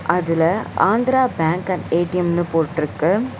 அதுல Andhra bank and ஏ_டி_எம்னு போட்டுருக்கு.